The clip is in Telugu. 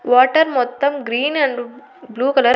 వాటర్ మొత్తం గ్రీన్ అండ్ బ్లూ కలర్ .